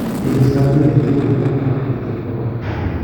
kikiista mpiret tugul amun ugojwet ab korona